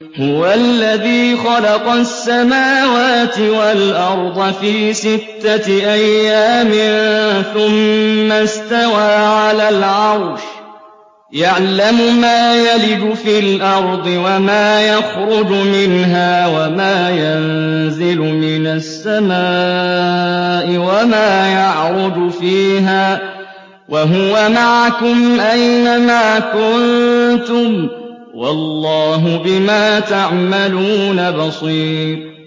هُوَ الَّذِي خَلَقَ السَّمَاوَاتِ وَالْأَرْضَ فِي سِتَّةِ أَيَّامٍ ثُمَّ اسْتَوَىٰ عَلَى الْعَرْشِ ۚ يَعْلَمُ مَا يَلِجُ فِي الْأَرْضِ وَمَا يَخْرُجُ مِنْهَا وَمَا يَنزِلُ مِنَ السَّمَاءِ وَمَا يَعْرُجُ فِيهَا ۖ وَهُوَ مَعَكُمْ أَيْنَ مَا كُنتُمْ ۚ وَاللَّهُ بِمَا تَعْمَلُونَ بَصِيرٌ